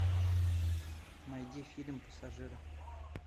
найди фильм пассажиры